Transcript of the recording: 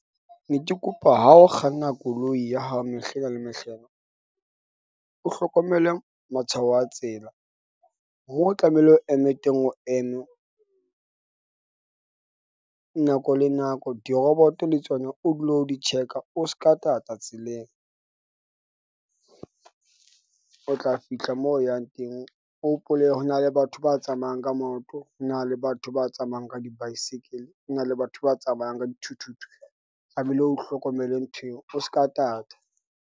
Ne ke kopa ha o kganna koloi ya hao. Mehlena le mehlena o hlokomele matshwao a tsela moo o tlamehile o eme teng. O eme nako le nako. Diroboto le tsona o dule o di check-a, o ska tata tseleng . O tla fihla moo o yang teng. O hopole ho na le batho ba tsamayang ka maoto. Ho na le batho ba tsamayang ka di baesekele. Ho na le batho ba tsamayang ka dithuthuthu. Tlamehile o hlokomele ntho eo, o aka tata.